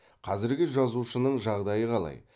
қазіргі жазушының жағдайы қалай